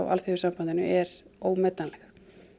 Alþýðusambandinu er ómetanleg